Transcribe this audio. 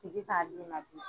Tigi t'a di ma bilen.